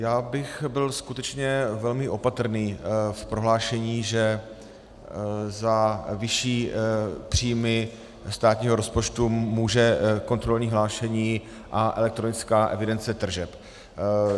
Já bych byl skutečně velmi opatrný v prohlášení, že za vyšší příjmy státního rozpočtu může kontrolní hlášení a elektronická evidence tržeb.